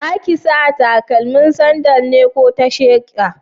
Zaki sa stakalmin sandal ne ko ta sheƙa?